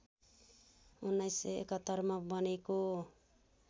१९७१ मा बनेको